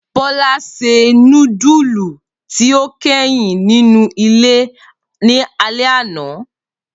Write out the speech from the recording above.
Bola se nudulu ti o kẹhin ninu ile ni alẹ ana.